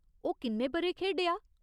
ओह् किन्ने ब'रे खेढेआ ?